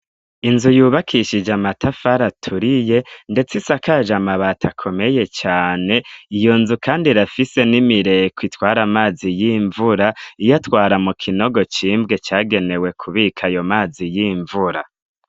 Inzu yubakishije amatafara aturiye, ndetse isakaje amabati akomeye cane iyo nzu, kandi rafise n'imireko itwari amazi y'imvura iyo atwara mu kinogo cimbwe cagenewe kubika ayo mazi y'imvura.